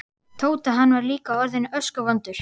Tóta, hann var líka orðinn öskuvondur.